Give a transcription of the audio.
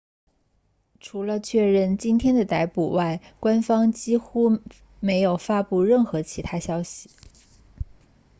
除了确认今天的逮捕外官方几乎没有发布任何其他信息